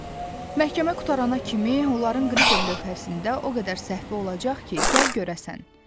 Məhkəmə qurtarana kimi onların qrifel lövhəsində o qədər səhvi olacaq ki, gəl görəsən.